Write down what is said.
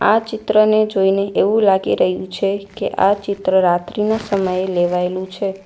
આ ચિત્રને જોઈને એવું લાગી રહ્યું છે કે આ ચિત્ર રાત્રિનો સમયે લેવાયેલું છે.